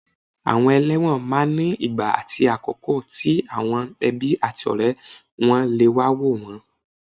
Àwọn ẹlẹ́wọ̀n máa ní ìgbà àti àkókò tí àwọn ẹbí àti ọ̀rẹ́ wọ́n lè wá wò wọ́n